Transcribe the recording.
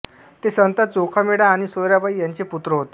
ते संत चोखामेळा आणि सोयराबाई यांचे पुत्र होते